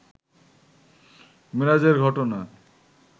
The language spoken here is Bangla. মেরাজের ঘটনা